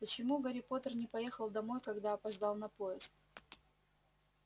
почему гарри поттер не поехал домой когда опоздал на поезд